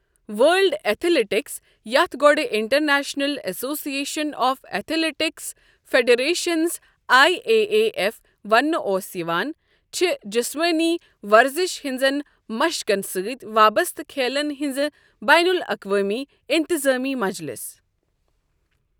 world athletics, یَتھ گۄڈٕ international association of athletics federations I A A F ونٛنہٕ اوس یِوان، چھےٚ جِسمینی ورزِش ہنزن مشقن سٕتۍ وابسطہٕ کھیلن ہنٛز بین الاقوٲمی اِتِظٲمی مجلِس